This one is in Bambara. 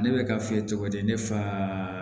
Ne bɛ ka f'i ye cogo di ne fa